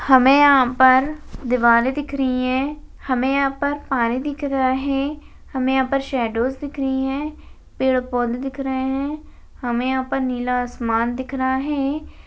हमें यहाँ पर दीवार दिख रही है हमें यहाँ पर पानी दिख रहा है हमें यहाँ पर शैडोज दिख रही है पेड़ पौधे दिख रहे है हमें यहाँ पर नीला आसमान दिख रहा है।